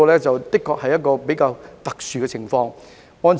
這的確是一個較為特殊的情況。